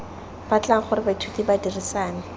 batlang gore baithuti ba dirisane